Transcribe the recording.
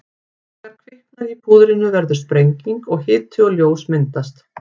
Þegar kviknar í púðrinu verður sprenging og hiti og ljós myndast.